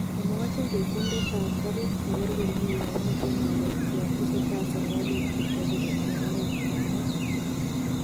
Omwochini ketindet tab garit koker komie yomiten oret yon tesetai serkalit kochobe komie oret ,kamwa.